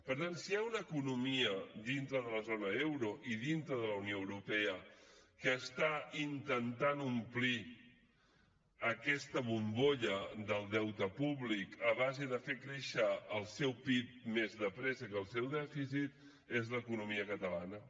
per tant si hi ha una economia dintre de la zona euro i dintre de la unió europea que està intentant omplir aquesta bombolla del deute públic a base de fer créixer el seu pib més de pressa que el seu dèficit és l’economia catalana